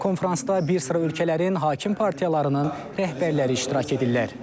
Konfransda bir sıra ölkələrin hakim partiyalarının rəhbərləri iştirak edirlər.